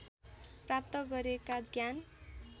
प्राप्त गरेका ज्ञान